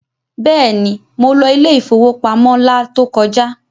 Bẹ́ẹ̀ni, mo lọ ilé ìfowópamọ́ la tó kọjá.